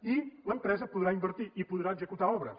i l’empresa podrà invertir i podrà executar obres